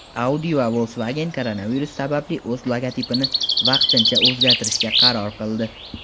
Audi va Volkswagen koronavirus sababli o‘z logotipini vaqtincha o‘zgartirishga qaror qildi.